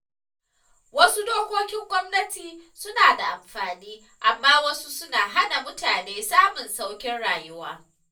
Wasu dokokin gwamnatin suna da amfani, amma wasu suna hana mutane samun sauƙin rayuwa.